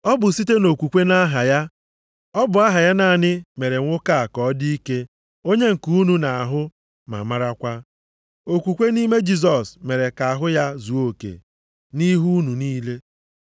Ọ bụ site nʼokwukwe nʼaha ya, ọ bụ aha ya naanị mere nwoke a ka ọ dị ike onye nke unu na-ahụ ma marakwa. Okwukwe nʼime Jisọs mere ka ahụ ya zuo oke nʼihu unu niile.